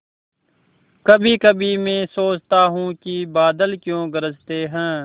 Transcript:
कभीकभी मैं सोचता हूँ कि बादल क्यों गरजते हैं